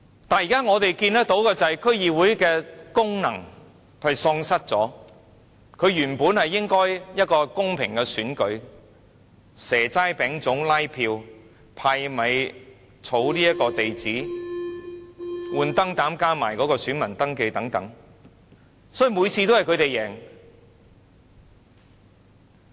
然而，我們現時看到的是區議會已經喪失功能，這原本應該是一個公平的選舉，但卻以"蛇齋餅粽"拉票、派米、收集地址、更換燈泡，加上登記選民資料等，所以每次都是他們贏。